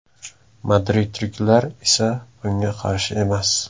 Madridliklar esa bunga qarshi emas.